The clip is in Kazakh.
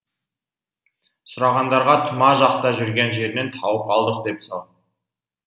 сұрағандарға тұма жақта жүрген жерінен тауып алдық дей сал